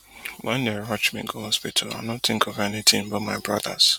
wen dem rush me go hospital i no think of anything but my brothers